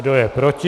Kdo je proti?